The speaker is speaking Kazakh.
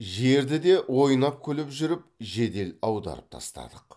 жерді де ойнап күліп жүріп жедел аударып тастадық